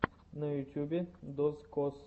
на ютубе дозкоз